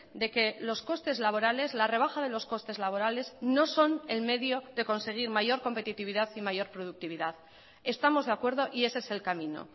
de que los costes laborales la rebaja de los costes laborales no son el medio de conseguir mayor competitividad y mayor productividad estamos de acuerdo y ese es el camino